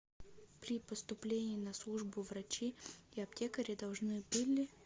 при поступлении на службу врачи и аптекари должны были